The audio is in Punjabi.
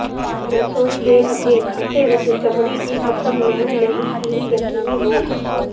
ਰਸੋਈ ਦੇ ਅੱਗੇ ਖਾਤੇ ਵਿੱਚ ਚਮੜੀ ਦੀ ਕਿਸਮ ਲੈਣ ਲਈ ਇਹ ਯਕੀਨੀ ਹੋ